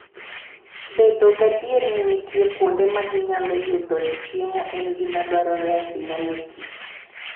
Bedo gadier ni nitie kuonde ma ginyalo yudoe chiemo en gima dwarore ahinya ne kich.